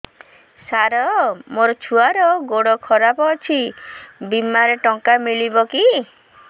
ସାର ମୋର ଛୁଆର ଗୋଡ ଖରାପ ଅଛି ବିମାରେ ଟଙ୍କା ମିଳିବ କି